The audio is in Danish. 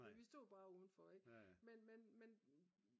men vi stod bare udenfor ik